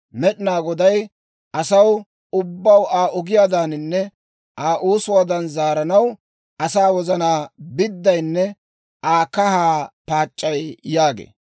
Med'inaa Goday asaw ubbaw Aa ogiyaadaaninne Aa oosuwaadan zaaranaw, asaa wozanaa biddayinne Aa kahaa paac'c'ay» yaagee.